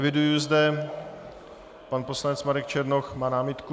Eviduji zde - pan poslanec Marek Černoch má námitku?